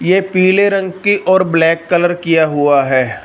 ये पीले रंग की और ब्लैक कलर किया हुआ है।